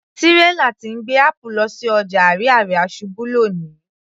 Tírélà tí ń gbé apple lọ sí ọjà Ariaria ṣubú lóni